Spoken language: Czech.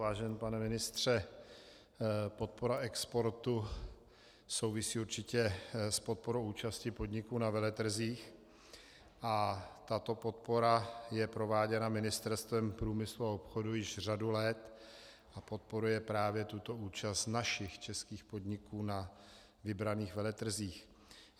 Vážený pane ministře, podpora exportu souvisí určitě s podporou účasti podniků na veletrzích a tato podpora je prováděna Ministerstvem průmyslu a obchodu již řadu let a podporuje právě tuto účast našich českých podniků na vybraných veletrzích.